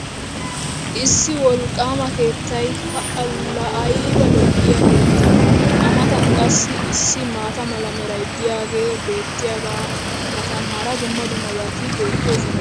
issi wolqaama keettay pa laa ayba lo'iyaa keettee!! a matan qassi issi maata mala meray diyaagee beetiyaagaa matan hara dumma dummabati beetoosona.